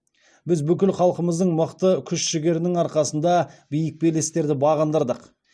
біз бүкіл халқымыздың мықты күш жігерінің арқасында биік белестерді бағындырдық